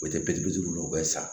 O tɛ biri duuru bɛ san